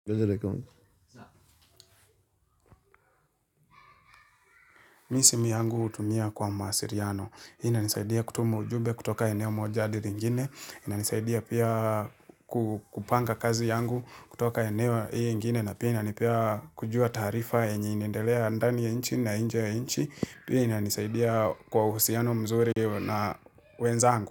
Bezele kongu, za. Mi simu yangu utumia kwa maasiriano. Hii inanisaidia kutumu ujube kutoka eneo moja adir ingine. Inanisaidia pia kupanga kazi yangu kutoka eneo iyo ingine. Na pia inanipea kujua taarifa enye inaendelea ndani ya nchi na inje ya nchi. Hina nisaidia kwa uhusiano mzuri na wenzangu.